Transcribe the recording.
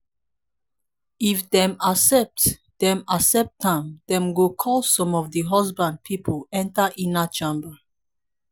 if dem accept dem accept am dem go call some of di husband pipol enter inner chamber